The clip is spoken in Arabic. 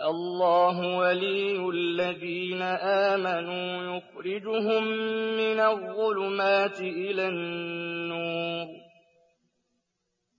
اللَّهُ وَلِيُّ الَّذِينَ آمَنُوا يُخْرِجُهُم مِّنَ الظُّلُمَاتِ إِلَى النُّورِ ۖ